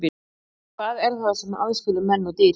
Hvað er það sem aðskilur menn og dýr?